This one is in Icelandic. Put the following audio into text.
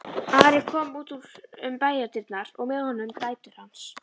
Ari kom út um bæjardyrnar og með honum dætur hans.